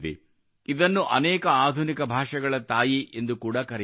ಇದನ್ನು ಅನೇಕ ಆಧುನಿಕ ಭಾಷೆಗಳ ತಾಯಿ ಎಂದು ಕೂಡಾ ಕರೆಯುತ್ತಾರೆ